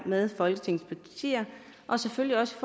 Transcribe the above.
med folketingets partier og selvfølgelig også